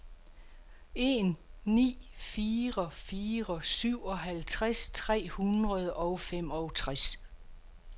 en ni fire fire syvoghalvtreds tre hundrede og femogtres